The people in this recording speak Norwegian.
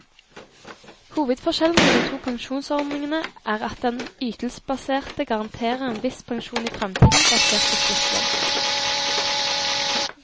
Hovedforskjellen på de to pensjonsordningene er at den ytelsesbaserte garanterer en viss pensjon i fremtiden, basert på sluttlønn.